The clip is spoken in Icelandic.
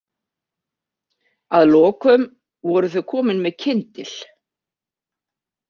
Að lokum voru þau komin með kyndil.